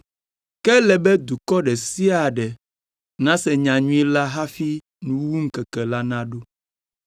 Ke ele be dukɔ ɖe sia ɖe nase nyanyui la hafi nuwuwuŋkeke la naɖo.